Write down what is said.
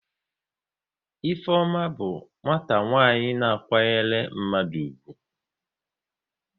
Ifeoma bụ nwata nwaanyị na kwanyere mmadụ ugwu